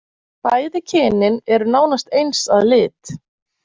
Bæði kynin eru nánast eins eins að lit.